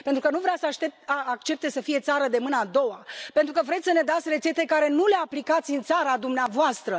Pentru că nu vrea să accepte să fie țară de mâna a doua, pentru că vrem să ne dați rețete pe care nu le aplicați în țara dumneavoastră.